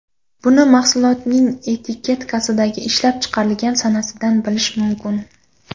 Buni mahsulotning etiketkasidagi ishlab chiqarilgan sanasidan bilish mumkin.